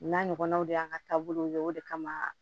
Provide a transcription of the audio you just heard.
N'a ɲɔgɔnnaw de y'an ka taabolow ye o de kama